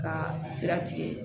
Ka sira tigɛ